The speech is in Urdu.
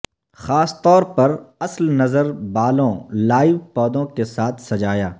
خاص طور پر اصل نظر بالوں لائیو پودوں کے ساتھ سجایا